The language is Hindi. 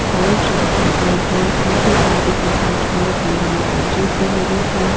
और के पेड़ हैं साथ ही साथ इसमें बैठने के लिए बैंचेस भी लगे हैं।